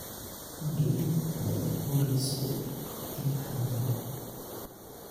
Maryan ayay boolisku qabteen xalay